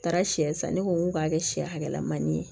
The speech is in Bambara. Taara sɛ san ne ko n k'u k'a kɛ sɛ hakɛlamani ye